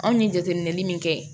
Anw ye jateminɛli min kɛ